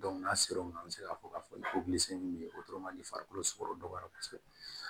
n'a sera o ma an bɛ se k'a fɔ k'a fɔ min bɛ yen o farikolo sugɔro dɔgɔyara kosɛbɛ